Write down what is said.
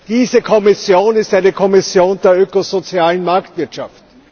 Diese Kommission ist eine Kommission der ökosozialen Marktwirtschaft.